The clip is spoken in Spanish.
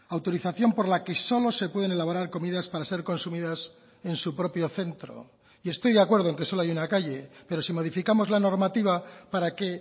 autorización por la que solo se pueden elaborar comidas para ser consumidas en su propio centro y estoy de acuerdo en que solo hay una calle pero si modificamos la normativa para que